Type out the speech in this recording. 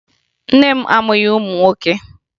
Nne m amụghị ụmụ nwoke